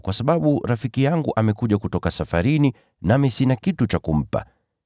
Kwa sababu rafiki yangu amekuja kutoka safarini, nami sina kitu cha kumpa.’